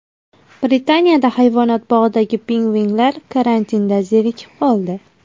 Britaniyada hayvonot bog‘idagi pingvinlar karantinda zerikib qoldi.